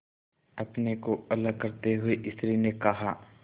अपने को अलग करते हुए स्त्री ने कहा